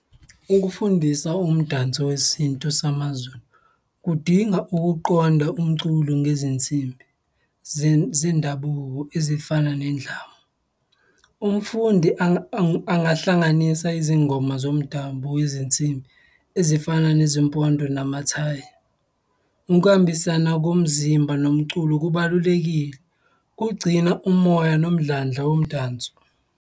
Ukufundisa umdanso wesintu samaZulu kudinga ukuqonda umculo ngezinsimbi zendabuko ezifana nendlamu. Umfundi angahlanganisa izingoma zomdabu, izinsimbi ezifana nezimpondo namathayi. Ukuhambisana komzimba nomculo kubalulekile, kugcina umoya nomdlandla womdanso.